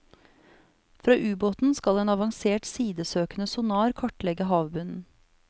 Fra ubåten skal en avansert sidesøkende sonar kartlegge havbunnen.